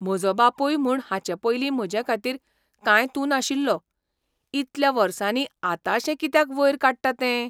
म्हजो बापूय म्हूण हाचे पयलीं म्हजेखातीर कांय तूं नाशिल्लो. इतल्या वर्सांनी आतांशें कित्याक वयर काडटा तें?